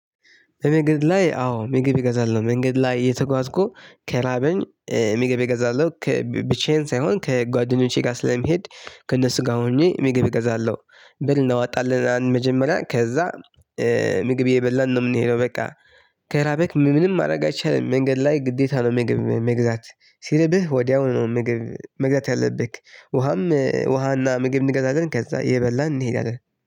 በመንገድ ላይ አዎ ምግብ እገዛልኝ መንገድ ላይ የተጓዝኩ ከራበኝ ምግብ እገዛልኝ ብቻዬን ሳይሆን ከጓደኞቼ ጋር ስለሚሄድ ከእነሱ ጋር ሆኜ ምግብ እገዛለሁ። ብር እናወጣለን መጀመሪያ ከዛ ምግብ እየበላን ነው የምንሄደው በቃ። ከራበክ ምንም ማድረግ አይቻልም መንገድ ላይ ግዴታ ነው ምግብ መግዛት። ሲርብህ ወዲያውኑ ነው ምግብ መግዛት ያለብህ ውሃም ውሃና ምግብ እንገዛለን። ከዛ እየበላን እንሄዳለን